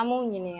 An b'u ɲininka